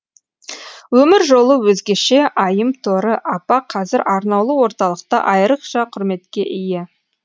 өмір жолы өзгеше айымторы апа қазір арнаулы орталықта айрықша құрметке ие